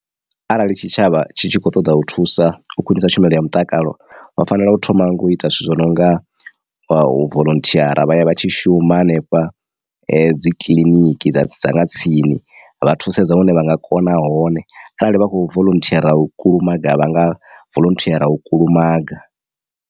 Arali tshitshavha tshi tshi khou ṱoḓa u thusa u khwiṋisa tshumelo ya mutakalo vha fanela u thoma nga u ita zwithu zwo no nga wa voḽonthiara vhaya vha tshi shuma hanefha dzi kiḽiniki dza dza nga tsini vha thusedza hune vha nga kona hone arali vha kho voḽonthiara u kulumaga vha nga voḽonthiara u kulumaga.